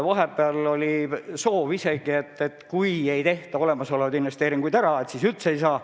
Vahepeal oli soov isegi, et kui ei tehta olemasolevaid investeeringuid ära, siis üldse ei saa.